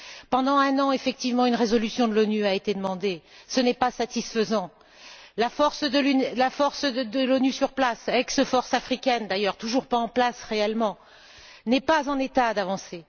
Pendant un an, effectivement, une résolution de l'ONU a été demandée, ce n'est pas satisfaisant. La force de l'ONU sur place, ex force africaine, d'ailleurs toujours pas en place réellement, n'est pas en état d'avancer.